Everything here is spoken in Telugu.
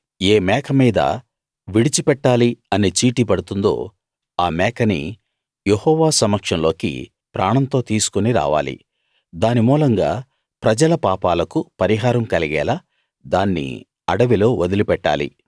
ఏ మేకమీద విడిచి పెట్టాలి అనే చీటీ పడుతుందో ఆ మేకని యెహోవా సమక్షంలోకి ప్రాణంతో తీసుకుని రావాలి దాని మూలంగా ప్రజల పాపాలకు పరిహారం కలిగేలా దాన్ని అడవిలో వదిలిపెట్టాలి